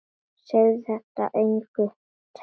Segðu þetta engum sagði hann.